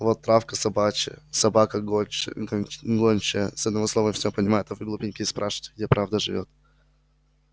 вот травка собака гончая с одного слова все понимает а вы глупенькие спрашиваете где правда живёт